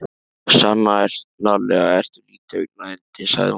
Sannarlega ertu lítið augnayndi sagði hún.